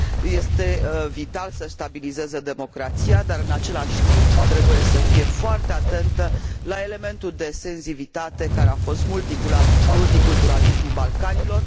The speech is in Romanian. Este vital să și stabilizeze democrația, dar, în același timp, trebuie să fie foarte atentă la elementul de sensibilitate care a fost multiculturalismul Balcanilor.